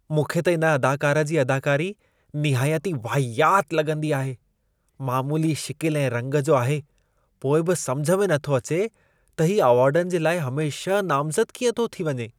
मूंखे त इन अदाकार जी अदाकारी निहायती वाहियात लॻंदी आहे। मामूली शिकिल ऐं रंग जो आहे पोइ बि समुझ में नथो अचे त हीउ अवॉर्डनि जे लाइ हमेशह नामज़दु कीअं थो थी वञे?